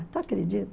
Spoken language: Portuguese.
Tu acredita?